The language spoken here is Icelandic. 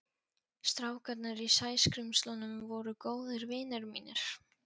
Strákarnir í Sæskrímslunum voru góðir vinir mínir.